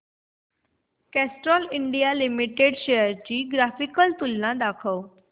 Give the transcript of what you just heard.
Castrol India limited shares ची graphical तुलना दाखव